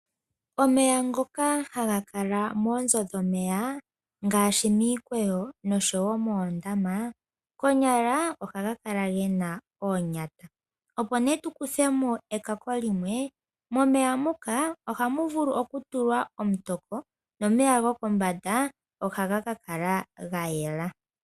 Omeya ngoka haga kala moonzo dhomeya ngaashi miikweyo, nosho wo moondama koonyala ohaga kala gena onyata, opo nee tukuthemo eekako limwe, moomeya muka ohamu vulu okutulwa omutoko noomeya gokombanda ohaga kakala gayela.